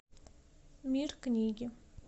мир книги